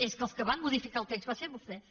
és que els que van modificar el text van ser vostès